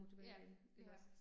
Ja, ja